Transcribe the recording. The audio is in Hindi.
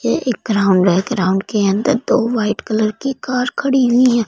ये एक ग्राउंड है ग्राउंड के अंदर दो वाइट कलर की कार खड़ी हुई है।